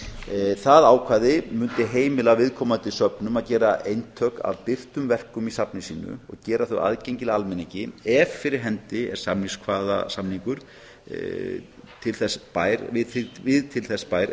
áðan það ákvæði mundi heimila viðkomandi söfnum að gera eintök af birtum verkum í safni sínu og gera þau aðgengileg almenningi ef fyrir hendi er samningskvaðasamningur við til þess bær